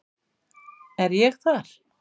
Er ég þar?